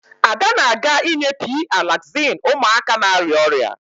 Ada na-aga inye P-Alaxin ụmụaka na-arịa ọrịa